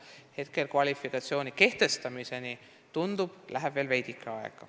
Hetkel tundub, et kvalifikatsiooni kehtestamiseni läheb veel veidike aega.